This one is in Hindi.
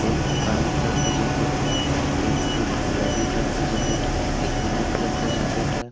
एक ब्राउन कलर का जैकेट है। एक गुलाबी कलर का जैकेट है। एक ब्लू कलर का जैकेट है।